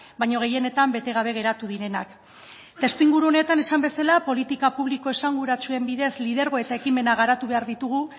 baino gehienetan bete gabe geratu direnak testuinguru honetan esan bezala politika publiko esanguratsuen bidez lidergo eta ekimena garatu behar ditugu